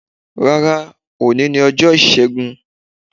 Rárá, òní ni ọjọ́ Isegw.